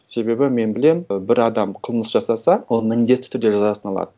себебі мен білемін і бір адам қылмыс жасаса ол міндетті түрде жазасын алады